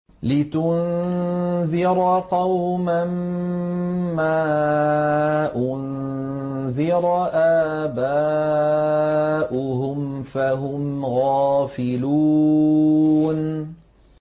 لِتُنذِرَ قَوْمًا مَّا أُنذِرَ آبَاؤُهُمْ فَهُمْ غَافِلُونَ